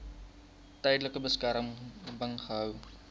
tydelike beskerming gehou